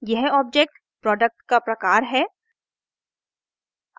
यह object product का प्रकार है